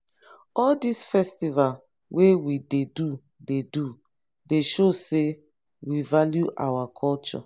all dis festival wey we dey do dey do dey show we value our culture.